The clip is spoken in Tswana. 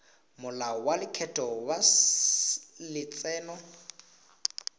molao wa lekgetho wa letseno